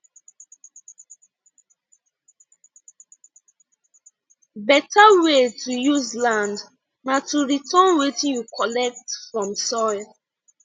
beta way to use land na to return wetin you collect from soil